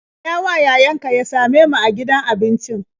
Gayawa yayanka ya same mu a gidan abincin.